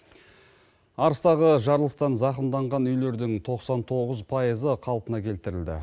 арыстағы жарылыстан зақымданған үйлердің тоқсан тоғыз пайызы қалпына келтірілді